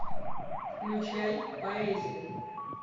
включай поэзия